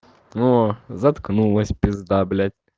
о заткнулась пизда блядь